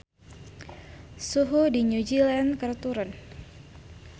Suhu di New Zealand keur turun